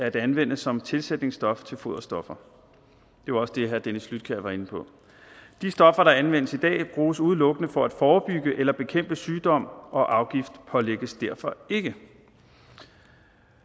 at anvende som tilsætningsstof til foderstoffer det var også det herre dennis flydtkjær var inde på de stoffer der anvendes i dag bruges udelukkende for at forebygge eller bekæmpe sygdom og afgiftspålægges derfor ikke